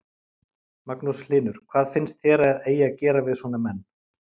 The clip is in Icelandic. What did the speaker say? Magnús Hlynur: Hvað finnst þér að eigi að gera við svona menn?